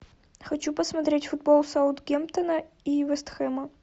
хочу посмотреть футбол саутгемптон и вест хэма